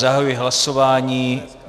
Zahajuji hlasování.